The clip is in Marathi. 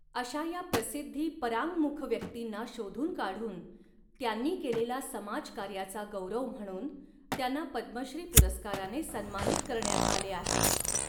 अशा या प्रसिद्धी परांङ् मुख व्यक्तींना शोधून काढून त्यांनी केलेल्या समाज कार्याचा गौरव म्हणून त्यांना पद्मश्री पुरस्काराने सन्मानित करण्यात आले आहे.